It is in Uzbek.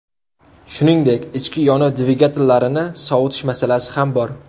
Shuningdek, ichki yonuv dvigatellarini sovutish masalasi ham bor.